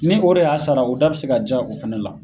Ni o de y'a sara, o da be se ka ja o fana la.